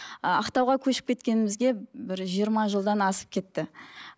ыыы ақтауға көшіп кеткенімізге бір жиырма жылдан асып кетті